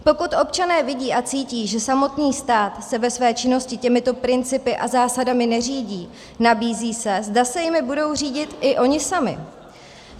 Pokud občané vidí a cítí, že samotný stát se ve své činnosti těmito principy a zásadami neřídí, nabízí se, zda se jimi budou řídit i oni sami.